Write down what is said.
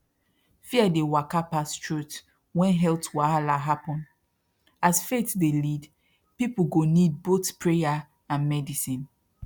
fear dey waka pass truth when health wahala happen as faith dey lead people go need both prayer and medicine